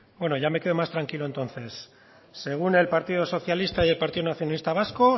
bueno ya me quedo más tranquilo entonces según el partido socialista y el partido nacionalista vasco